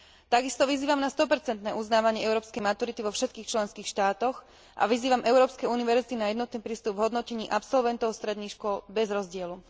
Takisto vyzývam na 100 uznávanie európskej maturity vo všetkých členských štátoch a vyzývam európske univerzity na jednotný prístup v hodnotení absolventov stredných škôl bez rozdielu.